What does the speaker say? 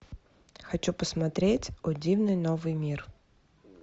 хочу посмотреть о дивный новый мир